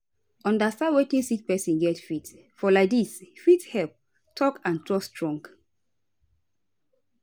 understand wetin sick pesin get faith for laidis fit help talk and trust strong